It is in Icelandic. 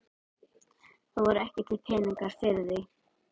Það voru ekki til peningar fyrir því.